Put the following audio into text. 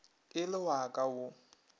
e le wa ka o